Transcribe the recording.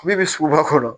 Min bɛ suguba kɔnɔ